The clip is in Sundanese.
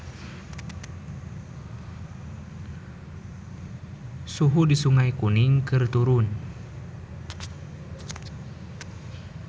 Suhu di Sungai Kuning keur turun